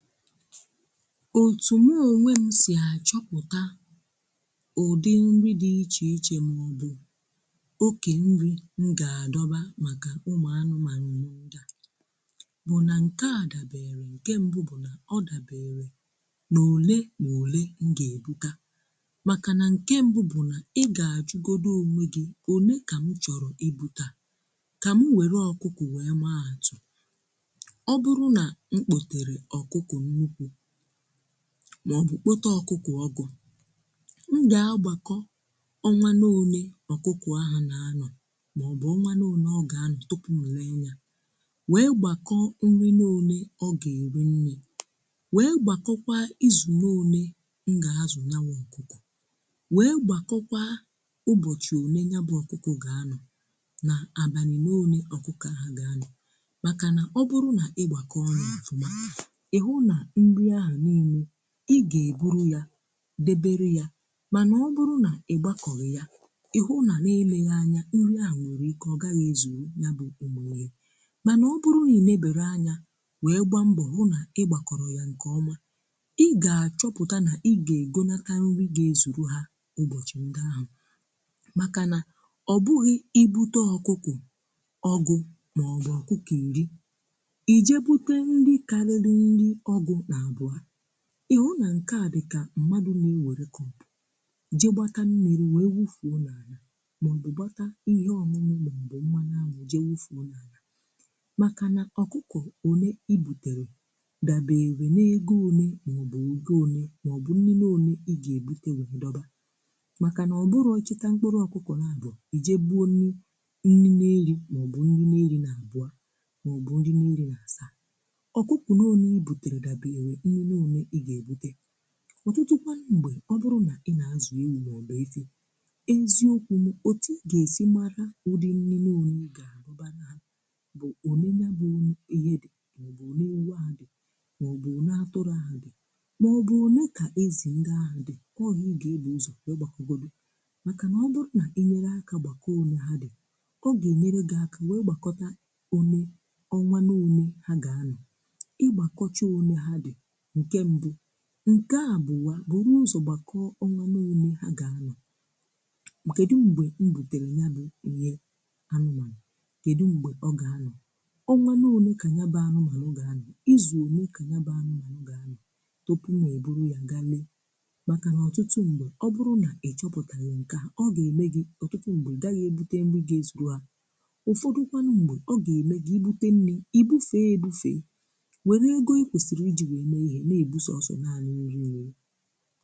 Ọtụ mụ ọnwe m sì achọpụ̀ta ụ̀dị nri dị̀ iche iche ma ọbụ̀ ọke nri m ga-adọba maka ụmụ̀ anụmanụ m ndia bụ̀ na nke a dabere, nke mbụ̀ bụ̀ na ọ dabere, na ọ̀le ma ọ̀le m ga-ebụta maka na nke mbụ̀ bụ̀ na ị ga-ajụgọdụ ọnwegi ọ̀ne ka m chọ̀rọ̀ ibụta ka m nwere ọ̀kụkụ wee maa atụ̀. Ọ bụrụ na mkpọtere ọkụkụ nnụkwụ maọbụ kpọte ọkụkọ ọgụ m ga-agbakọ ọnwa ne ọne, ọkụkụ ahụ na-anọ maọbụ ọnwa ne ọne ọ ga-anọ tụpụ m lee nya. Wee gbakọọ nri n’ọne ọ ga-eri nni, wee gbakọkwa izụ n’ọne m ga-azụ nya wụ ọkụkụ, wee gbakọkwa ụbọchị ọne ya bụ ọkụkụ ga-anọ na abanị n’ọne ọkụkụ ahụ ga-anọ maka na ọ bụrụ na ịgbakọ ya ọfụma ihụ na nrị ahụ niile ị ga-ebụrụ ya debere ya mana ọ bụrụ na ị gbakọhi ya ị hụ na n’eleghi anya nri ahụ nwere ike ọ gaghị ezụ ya bụ ụmụ mana ọ bụrụ na inebere anya wee gbaa mbọ hụ na ị gbakọrọ ya nke ọma ị ga-achọpụta na ị ga-egọnakarị nrị ga-ezụrụ ha ụbọchị ndị ahụ maka na ọ bụghị ibụte ọkụkụ ọgụ maọbụ ọkụkụ iri, ije bụte nrị kariri nrị ọgụ na abụa, ịhụ na nke a dịka mmadụ̀ na e weru cup jee gbata mmiri wee wụfụọ na ana maọ̀bụ̀ gbata ihe ọñụñụ maọ̀bụ̀ mmanụ anwụ̀ jee wụfụọ na ana. Maka na ọkụkụ ọne i bụtere dabere n’egọ ọne maọ̀bụ̀ ọgọ ọnye maọ̀bụ̀ nnine ọne, i ga-ebụte wee dọba. Maka na ọ bụrọ i chịta mkpụrụ̀ ọkụkọ̀ n’abụọ̀ i jee bụọ nni na-eri maọ̀bụ̀ nrì na-eri na abụọ̀ maọ̀bụ̀ nrì na-eri na asaa. Ọkụkụ n'ọne ibụtere dabere mmiri one i ga ebụte. Ọtụtụ kwa mgbe ọ bụrụ na ị na-azụ ewụ maọbụ eziọkwụm ọti iga esi mara ụdị nnìnne ọne i ga-abụbara ha bụ ọne nya bụ ihe dị maọbụ ọne ewụ ahụ dị maọbụ ọne atụrụ ahụ dị maọbụ ọne ka ezì ndị ahụ dị. Ọ ihe ị ga-ebụ ụzọ wee gbakọgọdụ maka na ọ bụrụ na inyere aka gbakọọ ọne ha dị ọ ga-enyere gị aka nwee gbakọta ọne ọnwa n’ọne ha ga-anọ. Igbakọcha ọne ha di nke mbụ̀, nke abụwa bụrụ ụzọ gbakọọ̀ ọnwa n'ọne ha ga-anọ̀, um Kedụ mgbe ibụtere nya bụ ihe anụmanụ̀, kedụ mgbe ọ ga-anọ̀. Ọnwa n'ọne ka nya bụ anụmanụ̀ ga-anọ̀ iz ọne ka nya bụ anụmanụ̀ ga-anọ̀, tọpụ na-ebụrụ ya gale maka na ọtụtụ mgbe ọ bụrụ̀ na ịchọpụtaghi nke a ọ ga-eme gi ọtụtụ mgbe igaghi ebụte nri ga-ezụrụ a ụfọdụ̀ kwanụ mgbe, ọ ga-eme gi ibụte nnì, ibụfe ebụfe, werụ egọ ikwesiri iji wee mee ihe na ebụ sọsọ naani nri nri.